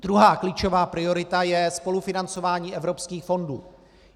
Druhá klíčová priorita je spolufinancování evropských fondů.